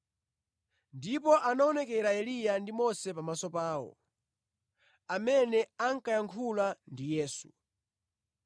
Ndipo anaonekera Eliya ndi Mose pamaso pawo, amene ankayankhulana ndi Yesu.